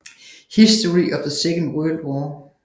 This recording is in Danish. History of the Second World War